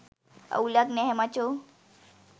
අවුලක් නැහැ මචෝ